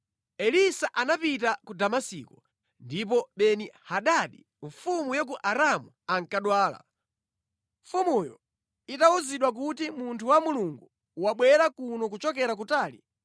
Elisa anapita ku Damasiko, ndipo Beni-Hadadi mfumu ya ku Aramu ankadwala. Mfumuyo itawuzidwa kuti, “Munthu wa Mulungu wabwera kuno kuchokera kutali,”